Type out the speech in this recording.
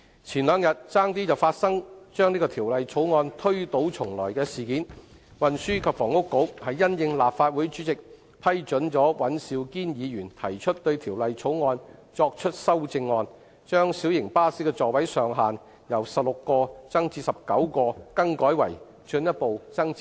前兩天差點發生當局把《條例草案》推倒重來的事件。事緣是立法會主席批准尹兆堅議員就《條例草案》提出修正案，把小型巴士的座位上限由16個增至19個，更改為進一步增至20個。